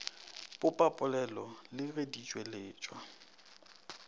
popapolelo le ge di tšweletšwa